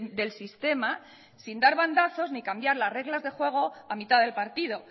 del sistema sin dar bandazos ni cambiar las reglas de juego a mitad del partido